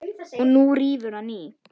Og nú rífur hann í.